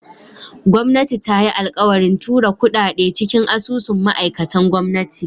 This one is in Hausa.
Gwamnati ta yi alkawarin tura kudade cikin asusun ma'aikatan gwamnati.